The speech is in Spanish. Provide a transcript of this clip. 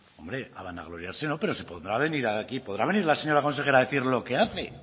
hombre a vanagloriarse no pero se podrá venir aquí podrá venir la señora consejera a decir lo que hace